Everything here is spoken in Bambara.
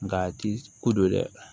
Nga a ti ko do dɛ